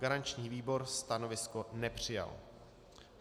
Garanční výbor stanovisko nepřijal.